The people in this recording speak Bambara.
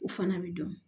O fana bɛ dɔn